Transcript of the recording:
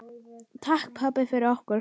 Takk, pabbi, fyrir okkur.